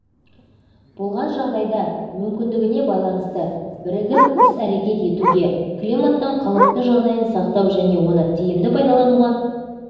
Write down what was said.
болған жағдайда мүмкіндігіне байланысты бірігіп ісәрекет етуге климаттың қалыпты жағдайын сақтау және оны тиімді пайдалануға